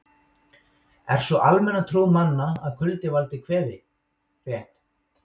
Er sú almenna trú manna að kuldi valdi kvefi rétt?